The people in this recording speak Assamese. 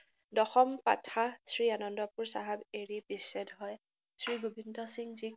দশম পাথা শ্ৰীআনন্দপুৰ চাহাব এৰি বিচ্ছেদ হয়, শ্ৰীগোবিন্দসিংজীক